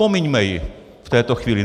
Pomiňme ji v této chvíli.